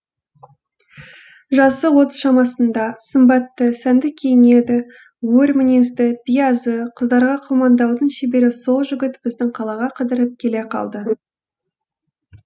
жасы отыз шамасында сымбатты сәнді киінеді өр мінезді биязы қыздарға қылмаңдаудың шебері сол жігіт біздің қалаға қыдырып келе қалды